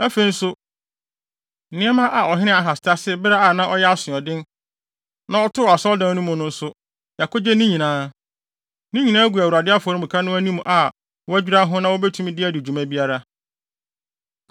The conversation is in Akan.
Afei nso, nneɛma a ɔhene Ahas tasee bere a na ɔyɛ asoɔden, na ɔtoo asɔredan no mu no nso, yɛakogye ne nyinaa. Ne nyinaa gu Awurade afɔremuka no anim a wɔadwira ho na wobetumi de adi dwuma biara.”